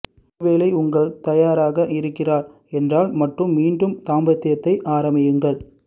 ஒருவேளை உங்கள் தயாராக இருக்கிறார் என்றால் மட்டும் மீண்டும் தாம்பத்தியத்தை ஆரம்பியுங்கள்